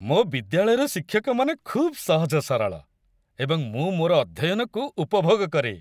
ମୋ ବିଦ୍ୟାଳୟର ଶିକ୍ଷକମାନେ ଖୁବ୍ ସହଜ ସରଳ ଏବଂ ମୁଁ ମୋର ଅଧ୍ୟୟନକୁ ଉପଭୋଗ କରେ।